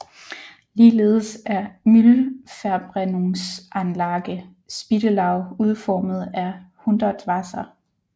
Ligeledes er Müllverbrennungsanlage Spittelau udformet af Hundertwasser